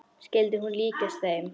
Skyldi hún líkjast henni?